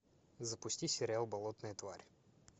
запусти сериал болотная тварь